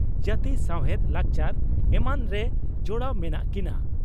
ᱡᱟᱹᱛᱤ ᱥᱟᱣᱦᱮᱫ ᱞᱟᱠᱪᱟᱨ ᱮᱢᱟᱱᱨᱮ ᱡᱚᱲᱟᱣ ᱢᱮᱱᱟᱜ ᱠᱤᱱᱟ ᱾